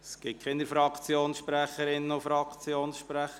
Es gibt keine Fraktionssprecherinnen und Fraktionssprecher.